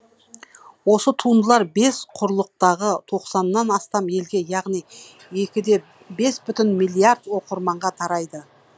осы туындылар бес құрлықтағы тоқсаннан астам елге яғни екі де бес бүтін миллиард оқырманға тарайды